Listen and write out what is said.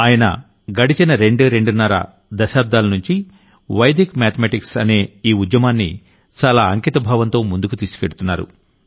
ఆయన గడచిన రెండు రెండున్నర దశాబ్దాలనుంచి వైదిక్ మ్యాధమెటిక్స్ అనే ఈ మూవ్ మెంట్ ని చాలా అంకిత భావంతో ముందుకు తీసుకెళ్తున్నారు